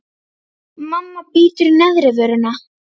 Mamma bítur í neðri vörina.